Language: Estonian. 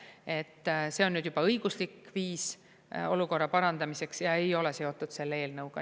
Ent see on nüüd juba õiguslik viis olukorra parandamiseks ja ei ole seotud selle eelnõuga.